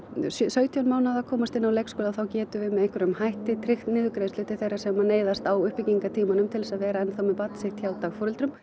sautján mánaða komast inn á leikskóla þá getum við með einhverjum hætti tryggt niðurgreiðslu til þeirra sem neyðast á uppbyggingartímanum til að vera með barn sitt hjá dagforeldrum